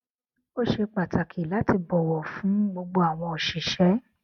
ó ṣe pàtàkì láti bọwọ fún gbogbo àwọn òṣìṣẹ